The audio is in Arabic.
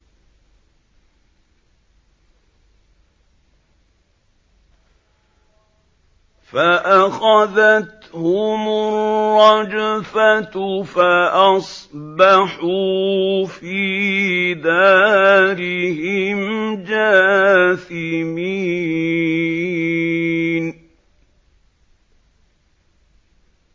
فَأَخَذَتْهُمُ الرَّجْفَةُ فَأَصْبَحُوا فِي دَارِهِمْ جَاثِمِينَ